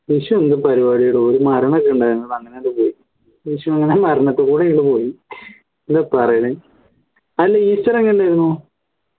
വിഷു എന്തു പരിപാടിയെടോ ഒരു മരണക്കെ ഉണ്ടായിരുന്നു അതങ്ങനെ അങ്ങ് പോയി വിഷു അങ്ങനെ മരണത്തികൂടെ പോയി എന്താ പറയണ അല്ല ഈസ്റ്റർ എങ്ങനെ ഉണ്ടായിരുന്നു